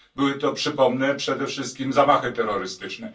Były to, przypomnę, przede wszystkim zamachy terrorystyczne.